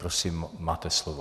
Prosím, máte slovo.